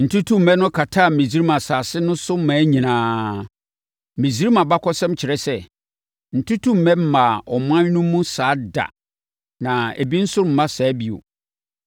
Ntutummɛ no kataa Misraim asase no so mmaa nyinaa. Misraim abakɔsɛm kyerɛ sɛ, ntutummɛ mmaa ɔman no mu saa da na ebi nso remma saa bio.